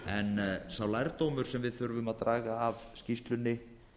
en sá lærdómur sem við þurfum að draga af skýrslunni